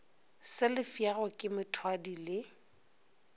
se lefšago ke mothwadi le